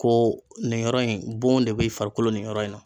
Ko nin yɔrɔ in bon de bɛ farikolo nin yɔrɔ in na.